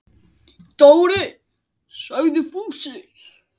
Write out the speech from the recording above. Dóri! sagði Fúsi.